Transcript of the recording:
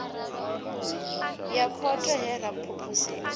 ya khotho he ra phuphuzika